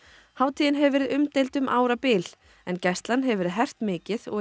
hátíðin hefur verið umdeild um árabil en gæslan hefur verið hert mikið og